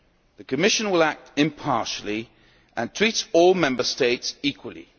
law. The Commission will act impartially and treats all Member States equally.